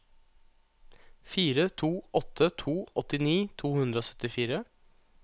fire to åtte to åttini to hundre og syttifire